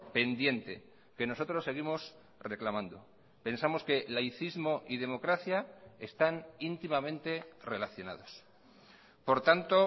pendiente que nosotros seguimos reclamando pensamos que laicismo y democracia están íntimamente relacionados por tanto